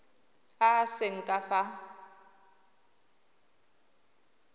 a a seng ka fa